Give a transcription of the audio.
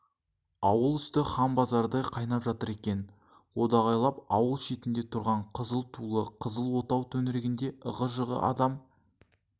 ауыл үсті ханбазардай қайнап жатыр екен одағайлап ауыл шетінде тұрған қызылтулы қызыл отау төңірегі ығы-жығы адам